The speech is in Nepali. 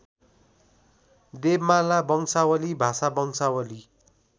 देवमाला वंशावली भाषावंशावली